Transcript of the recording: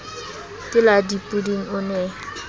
ke la dipoding o ne